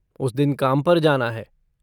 उस दिन काम पर जाना है।